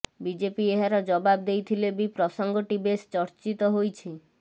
BJP ଏହାର ଜବାବ ଦେଇଥିଲେ ବି ପ୍ରସଙ୍ଗଟି ବେଶ୍ ଚର୍ଚ୍ଚିତ ହୋଇଛି